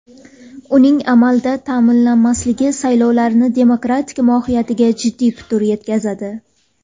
Uning amalda ta’minlanmasligi saylovlarning demokratik mohiyatiga jiddiy putur yetkazadi.